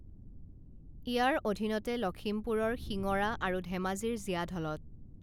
ইয়াৰ অধীনতে লখিমপুৰৰ শিঙৰা আৰু ধেমাজিৰ জীয়াঢলত